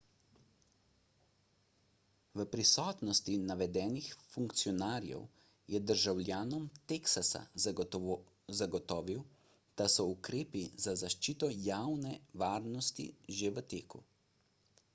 v prisotnosti navedenih funkcionarjev je državljanom teksasa zagotovil da so ukrepi za zaščito javne varnosti že v teku